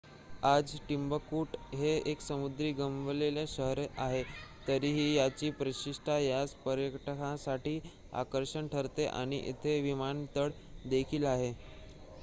आज टिम्बकटू हे एक समृद्धी गमावलेले शहर आहे तरीही याची प्रतिष्ठा यास पर्यटकांसाठी आकर्षण ठरते आणि येथे विमानतळ देखील आहे